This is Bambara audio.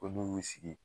Ko n'u y'u sigi